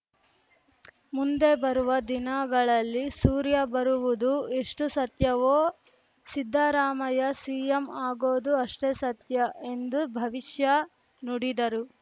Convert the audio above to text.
ಮುಂದೆ ಬರುವ ದಿನಗಳಲ್ಲಿ ಸೂರ್ಯ ಬರುವುದು ಎಷ್ಟುಸತ್ಯವೋ ಸಿದ್ದರಾಮಯ್ಯ ಸಿಎಂ ಆಗೋದೂ ಅಷ್ಟೇ ಸತ್ಯ ಎಂದು ಭವಿಷ್ಯ ನುಡಿದರು